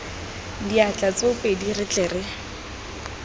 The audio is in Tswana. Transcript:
diatla tsoopedi re tle re